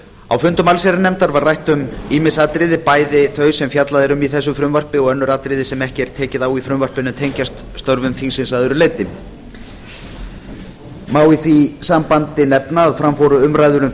á fundum allsherjarnefndar var rætt um ýmis atriði bæði þau sem fjallað er um í þessu frumvarpi og önnur atriði sem ekki er tekið á í frumvarpinu en tengjast störfum þingsins að öðru leyti má í þessu sambandi nefna að fram fóru umræður um